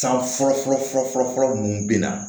San fɔlɔ fɔlɔ fɔlɔ fɔlɔ fɔlɔ ninnu bɛ na